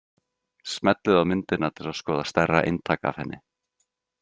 Smellið á myndina til að skoða stærra eintak af henni.